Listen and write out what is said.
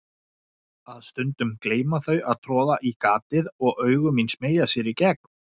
Aðeins stundum gleyma þau að troða í gatið og augu mín smeygja sér í gegn.